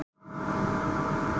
Myndinni er ekki lokið.